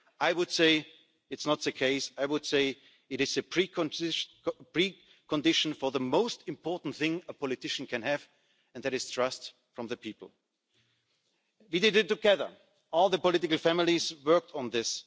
I would say that this is not the case, but I would say that it is a precondition for the most important thing a politician can have, and that is trust from the people. We did it together all the political families worked on this.